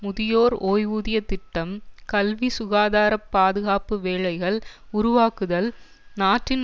முதியோர் ஓய்வூதிய திட்டம் கல்வி சுகாதார பாதுகாப்பு வேலைகள் உருவாக்குதல் நாட்டின்